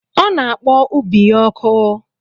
Ọ na-akpọ ubi ya ọkụ.